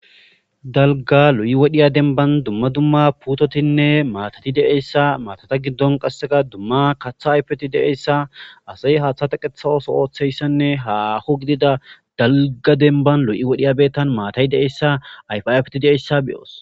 dalga lo7i wodhiya denban dumma dumma putotinne maatati de7eyssa maatata giddon qasseka dumma katha ayfeti deeyssa asay haaththa taqetha oso ooththeyssanne haho gidida dalga denban lo7i wodhiya beettan maatay de7essa ayfayfeti deessa beyoos